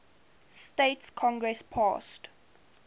states congress passed